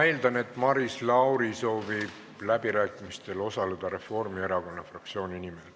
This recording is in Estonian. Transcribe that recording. Ma eeldan, et Maris Lauri soovib läbirääkimistel osaleda Reformierakonna fraktsiooni nimel.